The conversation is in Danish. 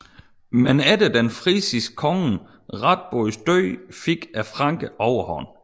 Men efter den frisiske konge Radbods død fik frankerne overhånd